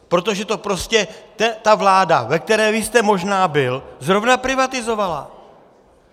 Protože to prostě ta vláda, ve které vy jste možná byl, zrovna privatizovala.